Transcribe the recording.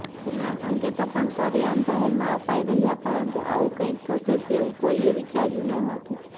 તેના સંકેતો પણ સરેઆમ જાહેરમાં અપાઇ રહ્યાં પરંતુ આવું કંઇક થશે તેવું કોઇએ વિચાર્યું નહોતું